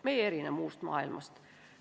Me ei erine muust maailmast.